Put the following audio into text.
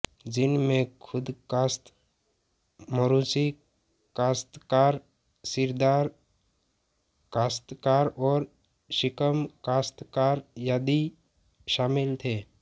जिनमें खुदकाश्त मौरूसी काश्तकार सीरदार काश्तकार और शिकम काश्तकार आदि शामिल थे